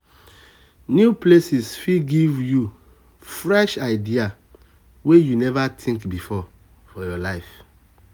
new places fit give um you um fresh ideas wey you um never think before.